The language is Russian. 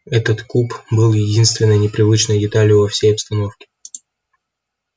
этот куб был единственной непривычной деталью во всей обстановке